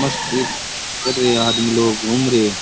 मस्ती कर रहे आदमी लोग घूम रहे।